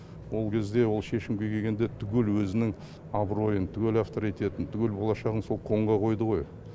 ол кезде ол шешімге келгенде түгел өзінің абыройын түгел авторитетін түгел болашағын сол конға қойды ғой